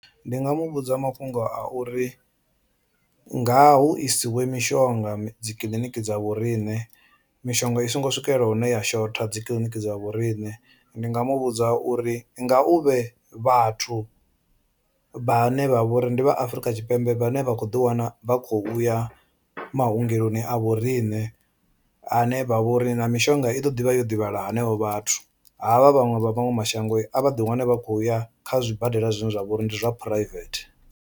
Ndi nga mu vhudza mafhungo a uri nga hu isiwe mishonga dzi kiḽiniki dza vho riṋe mishonga i songo swikelela hune ya shotha dzi kiḽiniki dza vhoriṋe. Ndi nga mu vhudza uri nga u vhe vhathu vhane vha vhori ndi vha Afurika Tshipembe vhane vha kho ḓi wana vha khou ya maongeloni a vho riṋe ane vha vha uri na mishonga i ḓo ḓivha yo divhalea henevho vhathu, havha vhaṅwe vha maṅwe mashango a vha ḓi wane vha khou ya kha zwibadela zwine zwa vha uri ndi zwa private.